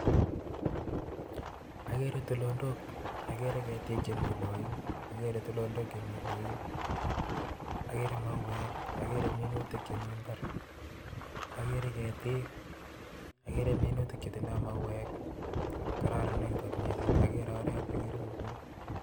Ageere tulonok, ageere ketiik chemi yello yun, ageere mauwek ageere minutiak chemi mbar, ageere ketiik agere minutik chetindo mauwek, kararan kot missing ak ogere oret nemiyun